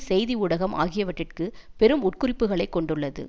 செய்தி ஊடகம் ஆகியவற்றிற்கு பெரும் உட்குறிப்புக்களை கொண்டுள்ளது